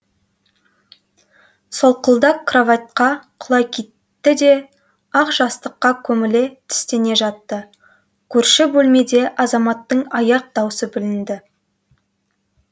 солқылдақ кроватьқа құлай кетті де ақ жастыққа көміле тістене жатты көрші бөлмеде азаматтың аяқ даусы білінді